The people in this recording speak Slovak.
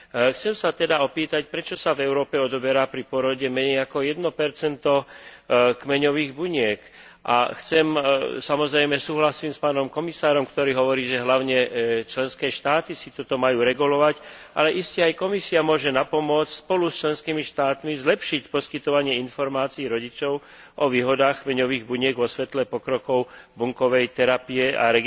Chcem sa teda opýtať, prečo sa v Európe odoberá pri pôrode menej ako 1 kmeňových buniek, a samozrejme, súhlasím s pánom komisárom, ktorý hovorí, že hlavne členské štáty si toto majú regulovať, ale iste aj Komisia môže napomôcť spolu s členskými štátmi zlepšiť poskytovanie informácií rodičom o výhodách kmeňových buniek vo svetle pokrokov bunkovej terapie a